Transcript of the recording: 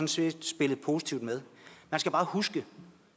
set spillet positivt med man skal bare huske at